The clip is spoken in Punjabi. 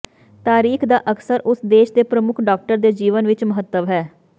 ਤਾਰੀਖ ਦਾ ਅਕਸਰ ਉਸ ਦੇਸ਼ ਦੇ ਪ੍ਰਮੁੱਖ ਡਾਕਟਰ ਦੇ ਜੀਵਨ ਵਿੱਚ ਮਹੱਤਵ ਹੈ